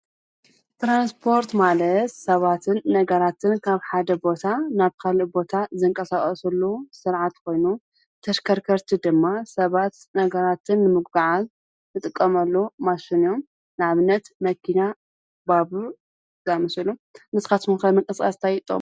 ትራንስፖርት ማለት ሰባትን ነገራትን ካብ ሓደ ቦታ ናብ ካሊእ ቦታ ዝንቀሳቀስሉ ስርዓት ኮይኑ ተሽከርከርቲ ድማ ሰባት ነገራትን ንምጉዕዓዝ ዝጥቀመሉ ማሽን እዩ። ንኣብነት መኪና፣ ባቡር ዝኣመሰሉ። ንስካትኩምም ከ ንምቅስቃስ እንታይ ትጥቀሙ?